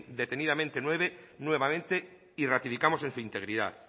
detenidamente nuevamente y ratificamos en su integridad